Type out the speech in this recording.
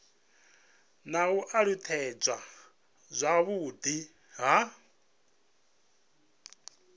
na u alutshedzwa zwavhudi ha